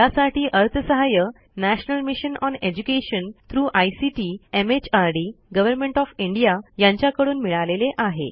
यासाठी अर्थसहाय्य national mission on education through ICT MHRD government of India यांच्याकडून मिळालेले आहे